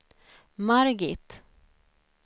Margit